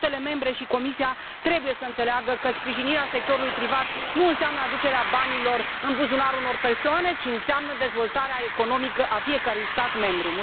Statele membre și Comisia trebuie să înțeleagă că sprijinirea sectorului privat nu înseamnă aducerea banilor în buzunarul unor persoane, ci înseamnă dezvoltarea economică a fiecărui stat membru.